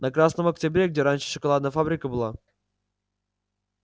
на красном октябре где раньше шоколадная фабрика была